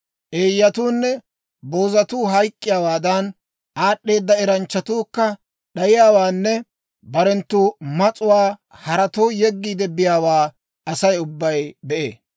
Eeyyatuunne boozatuu hayk'k'iyaawaadan, aad'd'eeda eranchchatuukka d'ayiyaawaanne barenttu mas'uwaa haratoo yeggiide biyaawaa asay ubbay be'ee.